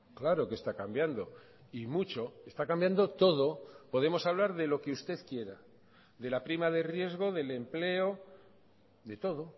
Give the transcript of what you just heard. claro que está cambiando y mucho está cambiando todo podemos hablar de lo que usted quiera de la prima de riesgo del empleo de todo